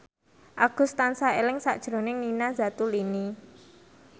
Agus tansah eling sakjroning Nina Zatulini